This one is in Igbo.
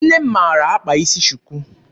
Nne m maara akpa isi shuku.